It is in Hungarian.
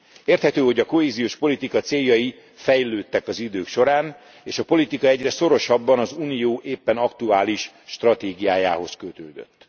Érthető, hogy a kohéziós politika céljai fejlődtek az idők során és a politika egyre szorosabban az unió éppen aktuális stratégiájához kötődött.